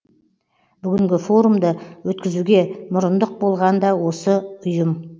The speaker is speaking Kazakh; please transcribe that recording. бүгінгі форумды өткізуге мұрындық болған да осы ұйым